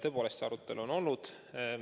Tõepoolest, see arutelu on olnud.